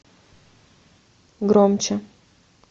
громче